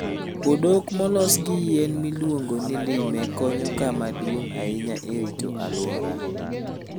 Odok molos gi yien miluongo ni lime konyo kama duong' ahinya e rito alwora.